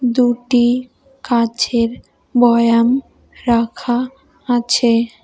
দুটি কাচের বয়াম রাখা আছে।